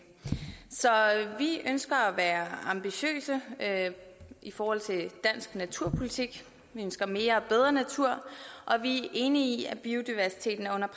så vi ønsker at være ambitiøse i forhold til dansk naturpolitik vi ønsker mere og bedre natur og vi enige i at biodiversiteten er under